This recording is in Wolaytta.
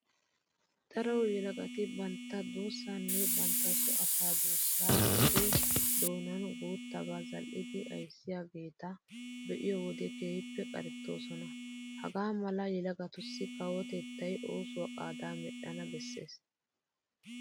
Daro yelagati bantta duussaanne bantta soo asaa duussaa oge doonan guuttabaa zal"idi ayssiyageeta be'iyo wode keehippe qarettoosona. Hagaa mala yelagatussi kawotettay oosuwa qaadaa medhdhana bessees.